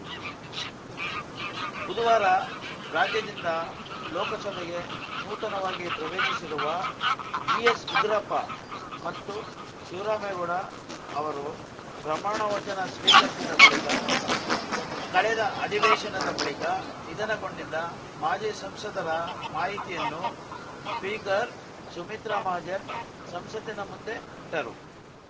ಬುಧವಾರ ರಾಜ್ಯದಿಂದ ಲೋಕಸಭೆಗೆ ನೂತನವಾಗಿ ಪ್ರವೇಶಿಸಿರುವ ವಿಎಸ್‌ಉಗ್ರಪ್ಪ ಮತ್ತು ಶಿವರಾಮೇಗೌಡ ಅವರು ಪ್ರಮಾಣವಚನ ಸ್ವೀಕರಿಸಿದ ಬಳಿಕ ಕಳೆದ ಅಧಿವೇಶನದ ಬಳಿಕ ನಿಧನಗೊಂಡಿದ್ದ ಮಾಜಿ ಸಂಸದರ ಮಾಹಿತಿಯನ್ನು ಸ್ಪೀಕರ್‌ ಸುಮಿತ್ರಾ ಮಹಾಜನ್‌ ಸಂಸತ್ತಿನ ಮುಂದೆ ಇಟ್ಟರು